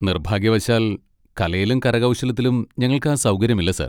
നിർഭാഗ്യവശാൽ, കലയിലും കരകൗശലത്തിലും ഞങ്ങൾക്ക് ആ സൗകര്യമില്ല സർ.